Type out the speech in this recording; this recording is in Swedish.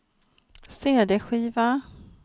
cd-skiva